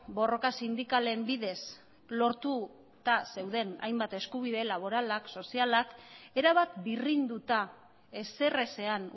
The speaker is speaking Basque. borroka sindikalen bidez lortuta zeuden hainbat eskubide laboralak sozialak erabat birrinduta ezerezean